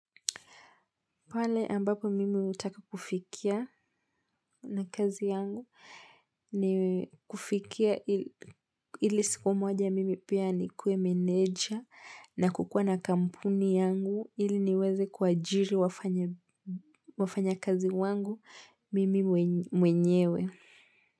Pale ambapo mimi utaka kufikia na kazi yangu ni kufikia ili siku moja mimi pia ni kue menedja na kukua na kampuni yangu ili niweze kwa jiri wafanya kazi wangu mimi mwenyewe.